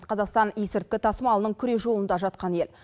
қазақстан есірткі тасымалының күре жолында жатқан ел